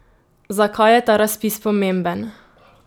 Zakaj je ta razpis pomemben?